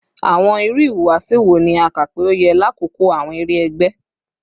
Awọn iru ihuwasi wo ni a ka pe o yẹ lakoko awọn ere ẹgbẹ?